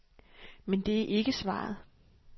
Men det er ikke svaret.